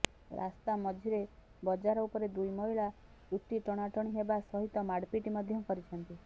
ରାସ୍ତା ମଝିରେ ବଜାର ଉପରେ ଦୁଇ ମହିଳା ଚୁଟି ଟଣାଟଣି ହେବା ସହିତ ମାଡ଼ପିଟ୍ ମଧ୍ୟ କରିଛନ୍ତି